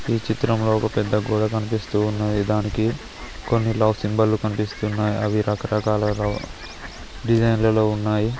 ఈ చిత్రంలో ఒక పెద్ద గోడ కనిపిస్తూ ఉన్నది దానికి కొన్ని లవ్ సింబల్ కనిపిస్తున్నాయి అవి రకరకాల డిజైన్ లలో ఉన్నాయి.